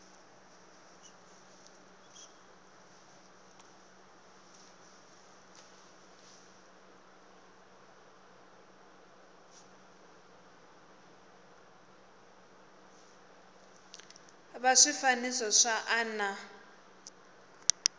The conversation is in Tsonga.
va swifaniso swa a na